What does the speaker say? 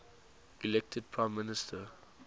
elected prime minister